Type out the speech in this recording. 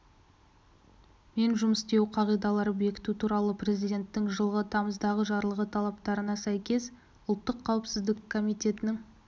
мен жұмыс істеуі қағидаларын бекіту туралы президентің жылғы тамыздағы жарлығы талаптарына сәйкес ұлттық қауіпсіздік комитетінің